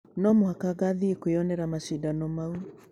No mũhaka ngathiĩ kwĩyonera macindano mau.